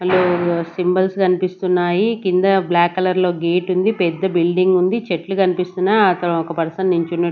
అందులో సింబల్స్ కన్పిస్తున్నాయి కింద బ్లాక్ కలర్ లో గేటుంది పెద్ద బిల్డింగ్ ఉంది చెట్లు కన్పిస్తున్నయ్ అక్కడ ఒక పర్సన్ నిల్చున్న--